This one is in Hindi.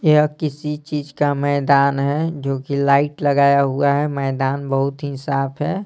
यह किसी चीज का मैदान है जो कि लाइट लगाया हुआ है मैदान बहुत ही साफ है।